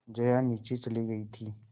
जया नीचे चली गई थी